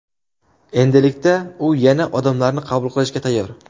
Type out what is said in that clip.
Endilikda u yana odamlarni qabul qilishga tayyor.